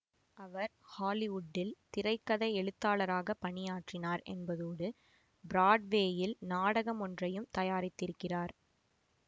அவர் ஹாலிவுட்டில் திரை கதை எழுத்தாளராக பணியாற்றினார் என்பதோடு பிராட்வேயில் நாடகம் ஒன்றையும் தயாரித்திருக்கிறார்